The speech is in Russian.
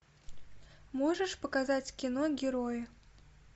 можешь показать кино герои